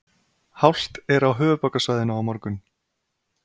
Hált á höfuðborgarsvæðinu á morgun